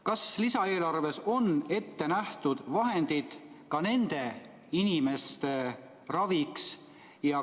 Kas lisaeelarves on ette nähtud vahendid ka nende inimeste raviks?